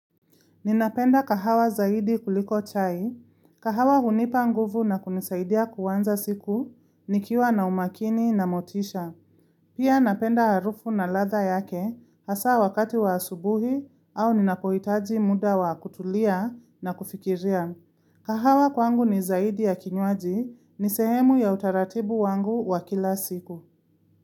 Ninapenda kahawa zaidi kuliko chai, kahawa hunipa nguvu na kunisaidia kuanza siku, nikiwa na umakini na motisha. Pia napenda harufu na ladha yake hasa wakati wa asubuhi au ninapohitaji muda wa kutulia na kufikiria. Kahawa kwangu ni zaidi ya kinywaji, ni sehemu ya utaratibu wangu wa kila siku.